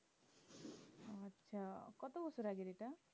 আচ্ছা কত বছর আগে যেটা